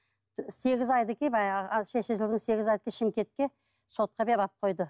сегіз шымкентке сотқа беріп алып қойды